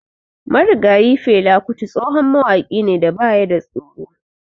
Marigayi Fela Kuti tsohon wahaƙi ne da baya da tsoro.